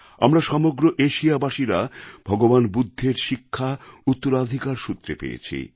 আমরা সমগ্র এশিয়াবাসীরা ভগবান বুদ্ধের শিক্ষা উত্তরাধিকার সূত্রে পেয়েছি